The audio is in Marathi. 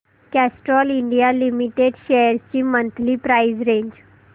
कॅस्ट्रॉल इंडिया लिमिटेड शेअर्स ची मंथली प्राइस रेंज